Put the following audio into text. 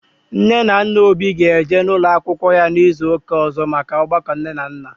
Nne na nna Obi ga eje n'ụlọ akwụkwọ ya n'izu ụka ọzọ maka ọgbakọ ndị nne na nna